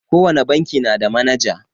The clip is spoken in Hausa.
Ko wane banki na da manaja.